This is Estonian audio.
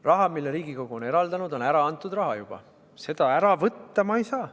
Raha, mille Riigikogu on eraldanud, on juba ära antud raha, seda ma ära võtta ei saa.